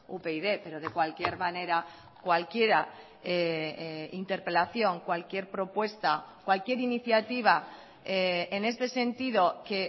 upyd pero de cualquier manera cualquiera interpelación cualquier propuesta cualquier iniciativa en este sentido que